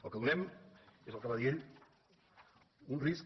el que donem és el que va dir ell un risc